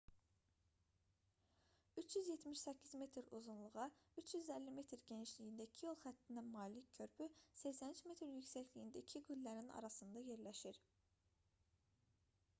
378 metr uzunluğa 3,50 m genişliyində iki yol xəttinə malik körpü 83 metr yüksəkliyində iki qüllənin arasında yerləşir